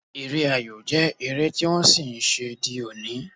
Eré ayò jẹ́ eré tí wọ́n ṣì ń ṣe di òní